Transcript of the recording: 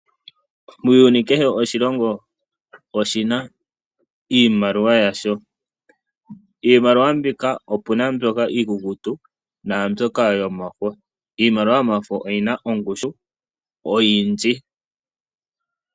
Muuyuni kehe oshilongo oshi na iimaliwa yasho. Iimaliwa opu na mbyoka iikukutu naambyoka yomafo. Iimaliwa yomafo oyi na ongushu oyindji.